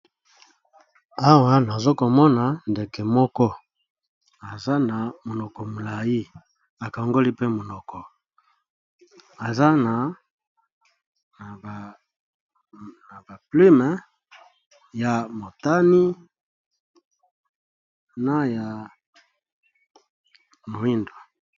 Awa nazo komona ndeke moko aza na monoko molayi akangoli pe monoko, aza na ba plume ya motani na ya moyindo.